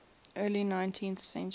early nineteenth century